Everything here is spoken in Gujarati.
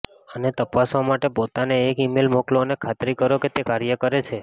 આને તપાસવા માટે પોતાને એક ઇમેઇલ મોકલો અને ખાતરી કરો કે તે કાર્ય કરે છે